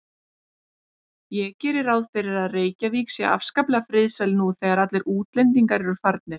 Ég geri ráð fyrir að Reykjavík sé afskaplega friðsæl nú þegar allir útlendingar eru farnir.